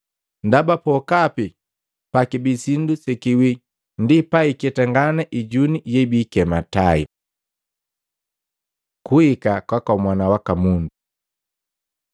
Ndaba pokapi pakibii sindu sekiwii ndi paketangana ijuni yebiikikema tai. Kuhika kwaka Mwana waka Mundu Maluko 13:24-27; Luka 21:25-28